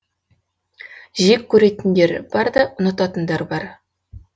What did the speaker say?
жек көретіндер бар да ұнататындар бар